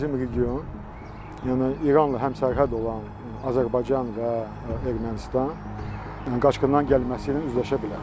Bizim region, yəni İranla həmsərhəd olan Azərbaycan və Ermənistan qaçqınların gəlməsi ilə üzləşə bilər.